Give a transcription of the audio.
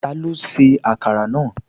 Ta ló ṣe akara náà?